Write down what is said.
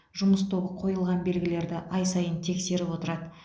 жұмыс тобы қойылған белгілерді ай сайын тексеріп отырады